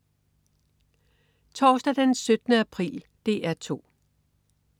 Torsdag den 17. april - DR 2: